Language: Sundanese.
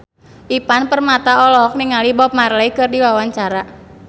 Ivan Permana olohok ningali Bob Marley keur diwawancara